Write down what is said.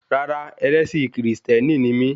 Rárá, ẹlẹ́sìn kìrìsìtẹ́nì ni mí